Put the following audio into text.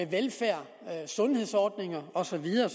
velfærd sundhedsordninger og så videre